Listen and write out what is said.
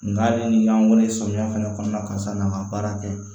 Nga ale ni y'an weele samiya fɛnɛ kɔnɔna na karisa nana baara kɛ